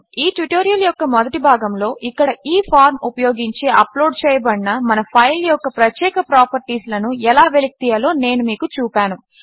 ఈ ట్యుటోరియల్ యొక్క మొదటి భాగములో ఇక్కడ ఈ ఫార్మ్ ఉపయోగించి అప్లోడ్ చేయబడిన మన ఫైల్ యొక్క ప్రత్యేక ప్రాపర్టీస్లను ఎలా వెలికితీయాలో నేను మీకు చూపాను